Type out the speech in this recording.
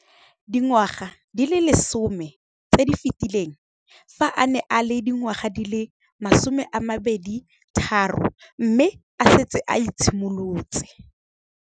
Dingwaga di le 10 tse di fetileng, fa a ne a le dingwaga di le 23 mme a setse a itshimoletse.